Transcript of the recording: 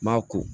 Maa ko